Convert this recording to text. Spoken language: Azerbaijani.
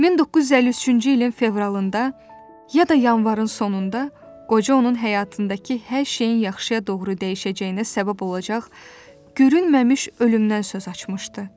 1953-cü ilin fevralında ya da yanvarın sonunda qoca onun həyatındakı hər şeyin yaxşıya doğru dəyişəcəyinə səbəb olacaq görünməmiş ölümdən söz açmışdı.